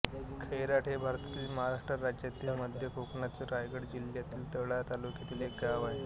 खैराट हे भारतातील महाराष्ट्र राज्यातील मध्य कोकणातील रायगड जिल्ह्यातील तळा तालुक्यातील एक गाव आहे